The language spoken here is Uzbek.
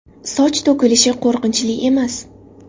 Soch to‘kilishi qo‘rqinchli emas!